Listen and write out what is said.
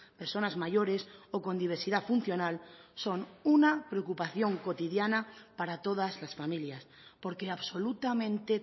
personas mayores o con diversidad funcional son una preocupación cotidiana para todas las familias porque absolutamente